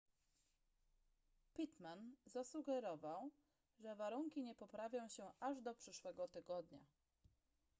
pittman zasugerował że warunki nie poprawią się aż do przyszłego tygodnia